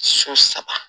So saba